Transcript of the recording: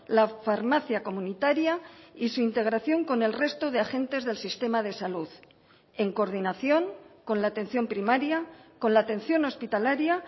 la farmacia comunitaria y su integración con el resto de agentes del sistema de salud en coordinación con la atención primaria con la atención hospitalaria